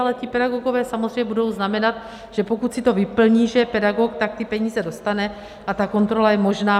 Ale ti pedagogové samozřejmě budou znamenat, že pokud si to vyplní, že je pedagog, tak ty peníze dostane a ta kontrola je možná.